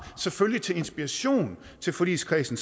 selvfølgelig til inspiration til forligskredsen